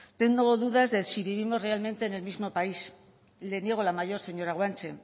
tengo dudas de si vivimos realmente en el mismo país le niego la mayor señora guanche